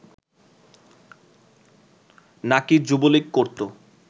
নাকি যুবলীগ করতো